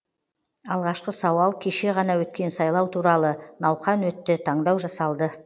алғашқы сауал кеше ғана өткен сайлау туралы науқан өтті таңдау жасалды